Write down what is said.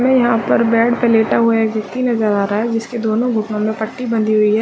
यहाँ पर बेड पे लेटा हुआ एक व्यक्ति नजर आ रहा है जिसके दोनों घुटनों में पट्टी बाँधी हुई है।